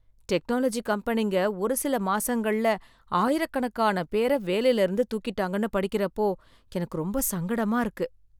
technology கம்பனிங்க ஒருசில மாசங்கள்ல ஆயிரக்கணக்கான பேரை வேலையில இருந்து தூக்கிட்டாங்கன்னு படிக்கிறப்போ எனக்கு ரொம்ப சங்கடமா இருக்கு